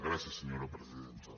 gràcies senyora presidenta